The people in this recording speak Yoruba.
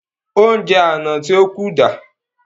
Ounjẹ àna tí ó kù dà?